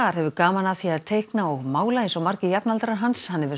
hefur gaman af því að teikna og mála eins og margir jafnaldrar hans hann hefur